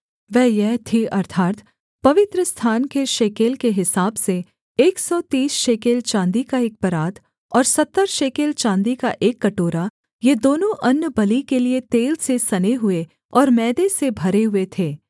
वह यह थी अर्थात् पवित्रस्थान के शेकेल के हिसाब से एक सौ तीस शेकेल चाँदी का एक परात और सत्तर शेकेल चाँदी का एक कटोरा ये दोनों अन्नबलि के लिये तेल से सने हुए और मैदे से भरे हुए थे